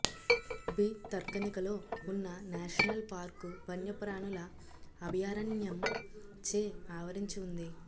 భితర్కనిక లో ఉన్న national park వన్యప్రాణుల అభయారణ్యం చే ఆవరించి ఉంది